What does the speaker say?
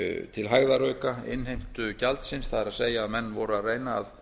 til hægðarauka innheimtu gjaldsins það er að menn voru að reyna að